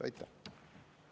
Aitäh!